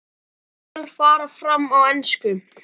Samtöl fara fram á ensku.